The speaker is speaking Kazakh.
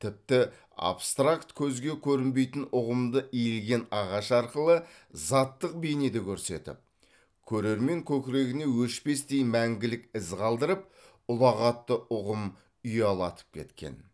тіпті абстракт көзге көрінбейтін ұғымды иілген ағаш арқылы заттық бейнеде көрсетіп көрермен көкірегіне өшпестей мәңгілік із қалдырып ұлағатты ұғым ұялатып кеткен